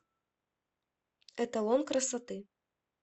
эталон красоты